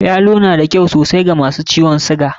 Yalo na da kyau sosai wa masu jinyan suga.